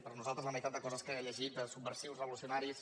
per nosaltres la meitat de coses que ha lle·git de subversius revolucionaris